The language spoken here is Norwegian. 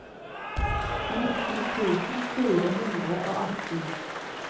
nittien tusen fire hundre og atten